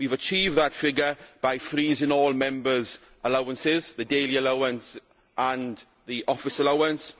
We have achieved that figure by freezing all Members' allowances, the daily allowance and the office allowance